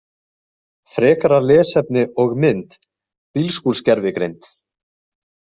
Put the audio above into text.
Frekara lesefni og mynd Bílskúrsgervigreind.